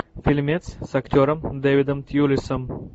фильмец с актером дэвидом тьюлисом